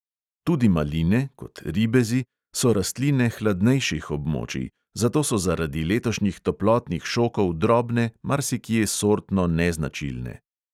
Tudi maline, kot ribezi, so rastline hladnejših območij, zato so zaradi letošnjih toplotnih šokov drobne, marsikje sortno neznačilne.